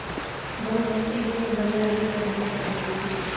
दो हफ्ते से बला की गर्मी पड़ रही थी